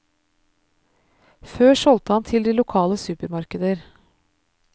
Før solgte han til de lokale supermarkeder.